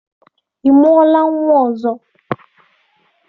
Ị mụọla nnwa ọzọ?